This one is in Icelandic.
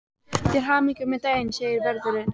Til hamingju með daginn segir vörðurinn.